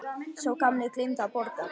Sá gamli gleymdi að borga.